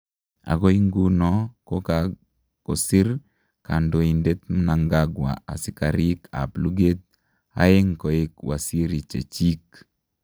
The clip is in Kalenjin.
Agoi nguno ko kagosir Kandoindet Mnagangwa askariik ap lugeet aeng' koek wasirichechiik.